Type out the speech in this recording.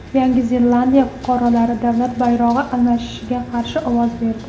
Yangi Zelandiya fuqarolari davlat bayrog‘i almashishiga qarshi ovoz berdi.